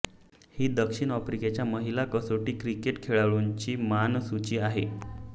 हि दक्षिण आफ्रिकेच्या महिला कसोटी क्रिकेट खेळाडूंची नामसूची आहे